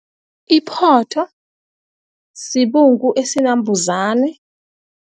Iphotho sibungu esinambhuzane.